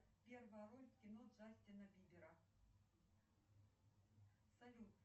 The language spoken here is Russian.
салют хочу посмотреть интересную веселую смешную комедию прямо сейчас